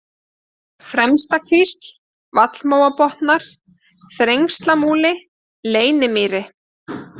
Fremstakvísl, Vallmóabotnar, Þrengslamúli, Leynimýri